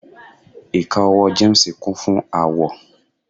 ika owó James Kun fún awọ